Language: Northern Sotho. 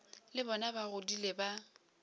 le bona ba godile ba